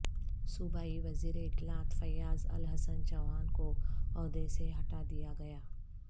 صوبائی وزیراطلاعات فیاض الحسن چوہان کو عہدے سے ہٹا دیا گیا